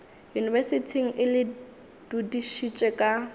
yunibesithing e le dudišitše ka